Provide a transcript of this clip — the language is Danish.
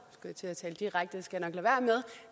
men